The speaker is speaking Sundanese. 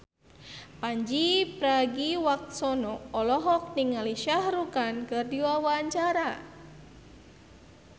Pandji Pragiwaksono olohok ningali Shah Rukh Khan keur diwawancara